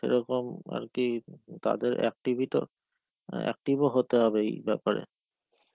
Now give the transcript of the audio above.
সেরকম আরকি তাদের activity টাও active ও হতে হবে এই বাপ্যারে.